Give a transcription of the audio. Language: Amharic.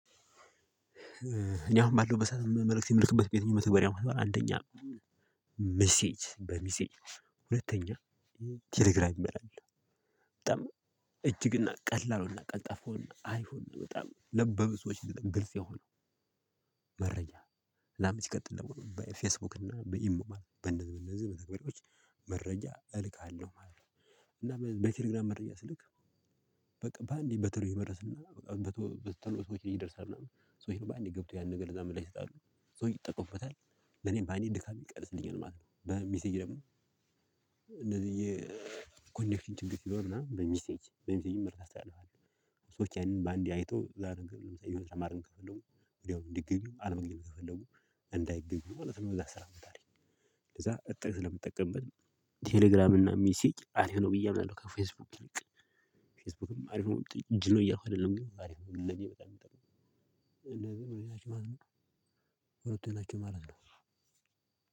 እኔ አሁን ባለው በሰአቱ መልእክት የምልክበት ቤተኛ መተወሪያ አንደኛ ምሲጅ በሚሲጅ ሁለተኛ ቴሌግራም ይመራል። በጣም እጅግና ቀላሉና ቀጠፉና አይሁን በጣም ለበብሶች ሰዎች ግልጽ የሆኑ መረጃ ለአመት ይቀጥላል። ደግሞ በፌስቡክ እና በኢሜል በነዚህ በነዚህ በተግባሪዎች መረጃ እልካለሁ ማለት ነው። እና በቴሌግራም መረጃ ስልክ በቃ በአንዴ በተሎ መድረስና በተለይ ሰዎች ሊደርስ ምናምን ሰዎች ነው በአንዴ ገብቶ ያን ነገር ለዛ ምላሽ ይሰጣሉ። ሶ ይጠቀሙበታል ለኔም በአንዴ ድካም ይቀንስልኛል ማለት ነው። በሚስጅ ደግሞ እንደዚህ የኮኔክሽን ችግር ሲሆን ምናምን በሚሴጅ በሚሴጅ ምርት አስተያየዋለሁ። ሰዎች ያንን በአንዴ አይቶ ለምሳሌ የምትሰማርን ከፈለጉ ወዲያውኑ እንዲገኙ አልመግኝም ከፈለጉ እንዳይገኙ ማለት ነው። እዛ ስራ አመታት ለዛ እጥቅ ስለምጠቀምበት ቴሌግራም እና ሚሴጅ አንድ ሆኖ ብዬ አምናለሁ። ከፌስቡክ ልክ ፌስቡክም አሪፍ ነው። እጅ ነው እያልኩ አይደለም አሪፍ ነው። ለኔ በጣም የምጠራው እንደዚህ ሁለት አመት ነው።